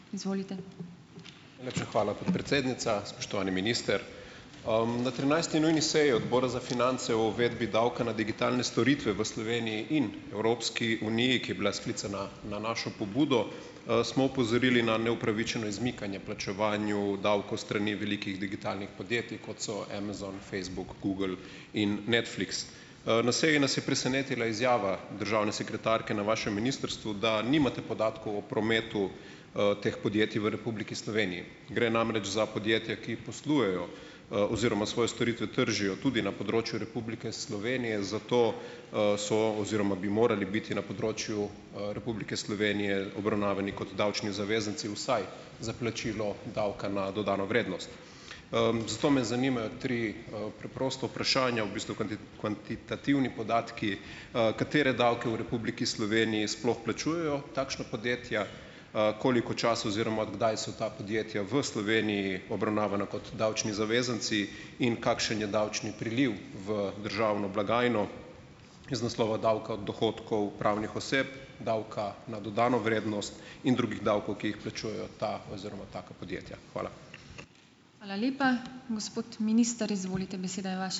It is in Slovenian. Najlepša hvala, podpredsednica. Spoštovani minister! Na trinajsti nujni seji Odbora za finance o uvedbi davka na digitalne storitve v Sloveniji in Evropski uniji, ki je bila sklicana na našo pobudo, smo opozorili na neupravičeno izmikanje plačevanju davkov s strani velikih digitalnih podjetij, kot so Amazon, Facebook, Google in Netflix. Na seji nas je presenetila izjava državne sekretarke na vašem ministrstvu, da nimate podatkov o premetu, teh podjetij v Republiki Sloveniji, gre namreč za podjetja, ki poslujejo, oziroma svoje storitve tržijo tudi na področju Republike Slovenije, zato, so oziroma bi morali biti na področju, Republike Slovenije obravnavani kot davčni zavezanci vsaj za plačilo davka na dodano vrednost. Zato me zanimajo tri, preprosta vprašanja, v bistvu kvantitativni podatki: Katere davke v Republiki Sloveniji sploh plačujejo takšna podjetja? Koliko časa oziroma kdaj so ta podjetja v Sloveniji obravnavana kot davčni zavezanci in kakšen je davčni priliv v državno blagajno iz naslova davka dohodkov pravnih oseb, davka na dodano vrednost in drugih davkov, ki jih plačujejo ta oziroma taka podjetja? Hvala.